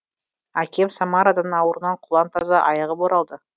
әкем самарадан ауруынан құлан таза айығып оралды